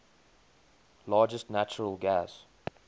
largest natural gas